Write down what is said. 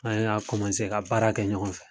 An y'a ka baara kɛ ɲɔgɔn fɛ.